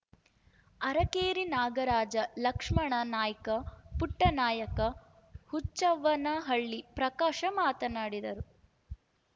ಅರಕೇರಿ ನಾಗರಾಜ ಲಕ್ಷ್ಮಣ ನಾಯ್ಕ ಪುಟ್ಟನಾಯ್ಕ ಹುಚ್ಚವ್ವನಹಳ್ಳಿ ಪ್ರಕಾಶ ಮಾತನಾಡಿದರು